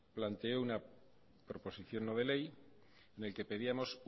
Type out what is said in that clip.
planteó una proposición no de ley en el que pedíamos